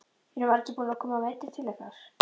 Eru margir búnir að koma meiddir til ykkar?